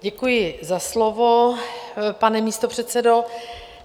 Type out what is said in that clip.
Děkuji za slovo, pane místopředsedo.